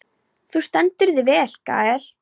Þú stendur þig vel, Gael!